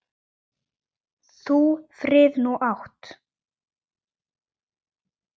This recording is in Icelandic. Þú frið nú átt.